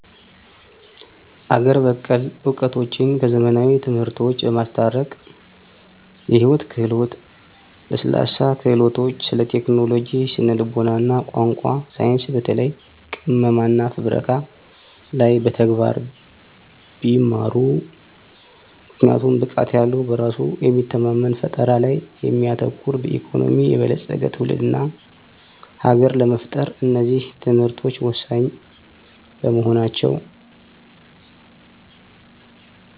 አገር በቀል እውቀቶችን ከዘመናዊ ትምህርቶች በማስታረቅ የሕይወት ክህሎት፣ ለስላሳ ክህሎቶች፣ ስለቴክኖሎጂ፣ ስነ-ልቡና፣ ቋንቋ፣ ሳይንስ በተለይ ቅመማና ፍብረካ ላይ በተግባር ቢማሩ!! ምክንያቱም ብቃት ያለዉ በራሱ የሚተማመን ፈጠራ ላይ የሚያተኩር በኢኮኖሚ የበለጸገ ትውልድና ሀገር ለመፍጠር እነዚህ ትምህርቶች ወሳኝ በመሆናቸው